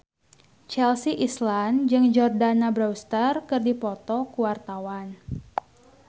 Chelsea Islan jeung Jordana Brewster keur dipoto ku wartawan